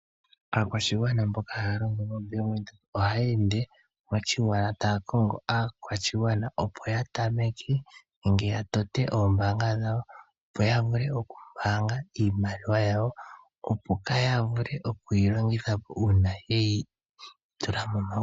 Aakwashigwana mboka haya longo moombanga ohaya ende moshigwana taya kongo aakwashigwana opo yavule oku pungula iimaliwa yawo , opo kaya vule oku yi longithapo uuna yeyi tula momagumbo.